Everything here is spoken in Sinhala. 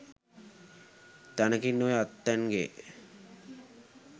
තැනකින් ඔය ඇත්තන්ගෙ